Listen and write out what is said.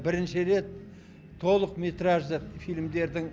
бірінші рет толықметражды фильмдердің